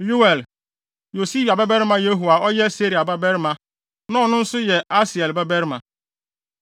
Yoel, Yosibia babarima Yehu a ɔyɛ Seraia babarima, na ɔno nso yɛ Asiel babarima,